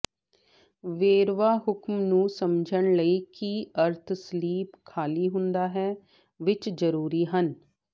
ਵੇਰਵਾ ਹੁਕਮ ਨੂੰ ਸਮਝਣ ਲਈ ਕੀ ਅਰਥ ਸਲੀਪ ਖ਼ਾਲੀ ਹੁੰਦਾ ਹੈ ਵਿੱਚ ਜ਼ਰੂਰੀ ਹਨ